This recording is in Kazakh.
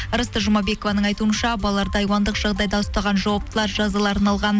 ырысты жұмабекованың айтуынша балаларды айуандық жағдайда ұстаған жауаптылар жазаларын алған